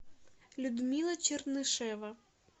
людмила чернышева